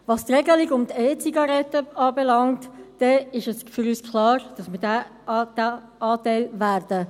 Was die Regelung um die E-Zigaretten anbelangt, ist für uns klar, dass wir diesen Teil annehmen werden.